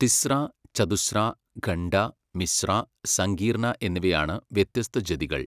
തിസ്ര, ചതുസ്ര, ഖണ്ഡ, മിശ്ര, സങ്കീർണ എന്നിവയാണ് വ്യത്യസ്ത ജതികൾ.